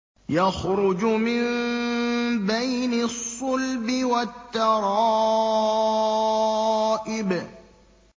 يَخْرُجُ مِن بَيْنِ الصُّلْبِ وَالتَّرَائِبِ